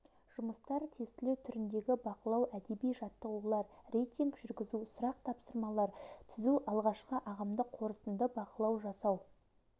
жұмыстар тестілеу түріндегі бақылау әдеби жаттығулар рейтинг жүргізу сұрақ-тапсырмалар түзу алғашқы ағымдық қорытынды бақылау жасау